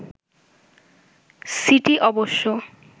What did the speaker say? city অবশ্য